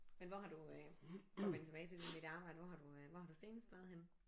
Men hvor har du øh for at vende tilbage til det med dit arbejde hvor har du øh hvor har du senest været henne?